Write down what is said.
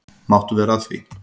Máttu vera að því?